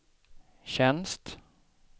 tjänst